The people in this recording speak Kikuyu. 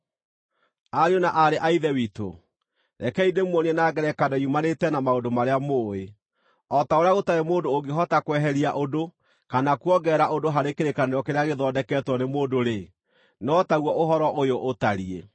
Ariũ na aarĩ a Ithe witũ, rekei ndĩmuonie na ngerekano yumanĩte na maũndũ marĩa mũũĩ. O ta ũrĩa gũtarĩ mũndũ ũngĩhota kweheria ũndũ kana kuongerera ũndũ harĩ kĩrĩkanĩro kĩrĩa gĩthondeketwo nĩ mũndũ-rĩ, no taguo ũhoro ũyũ ũtariĩ.